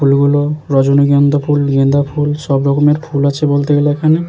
ফুলগুলো রজনীগন্ধা ফুল গেন্দা ফুল সব রকমের ফুল আছে বলতে গেলে এখানে।